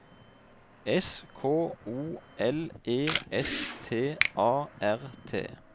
S K O L E S T A R T